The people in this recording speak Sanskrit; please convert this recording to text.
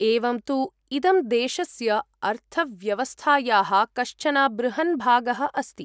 एवं तु, इदं देशस्य अर्थव्यवस्थायाः कश्चन बृहन् भागः अस्ति।